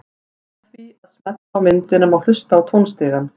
Með því að smella á myndina má hlusta á tónstigann.